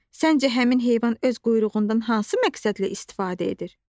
Səncə həmin heyvan öz quyruğundan hansı məqsədlə istifadə edir?